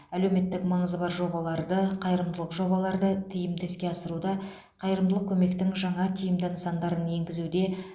әлеуметтік маңызы бар жобаларды қайырымдылық жобаларды тиімді іске асыруда қайырымдылық көмектің жаңа тиімді нысандарын енгізуде